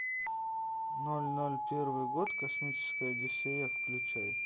ноль ноль первый год космическая одиссея включай